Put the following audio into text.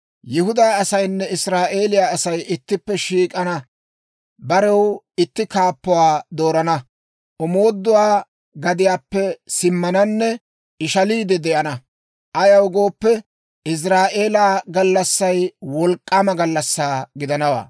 Yihudaa asaynne Israa'eeliyaa Asay ittippe shiik'ana; barew itti kaappuwaa doorana; omooduwaa gadiyaappe simmananne ishaliide de'ana. Ayaw gooppe, Iziraa'eela gallassay wolk'k'aama gallassaa gidanawaa.